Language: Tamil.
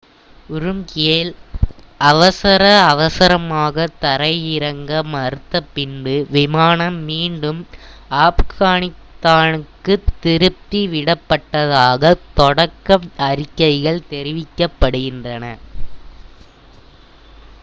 உரும்கியில் அவசர அவசரமாகத் தரையிறங்க மறுத்த பின்பு விமானம் மீண்டும் ஆப்கானிஸ்தானுக்குத் திருப்பி விடப்பட்டதாகத் தொடக்க அறிக்கைகள் தெரிவிக்கின்றன